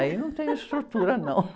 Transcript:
Aí eu não tenho estrutura, não.